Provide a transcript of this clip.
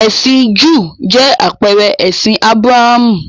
Ẹ̀sìn Júù jẹ́ àpẹẹrẹ ẹ̀sìn Ábúráhámù.